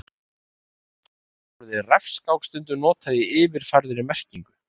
Nú á dögum er orðið refskák stundum notað í yfirfærðri merkingu.